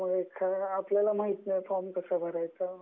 :म्हणजे जर आपल्याला माहिती नसायच फॉर्म कसा भरायचा